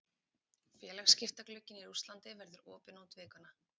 Félagaskiptaglugginn í Rússlandi verður opinn út vikuna.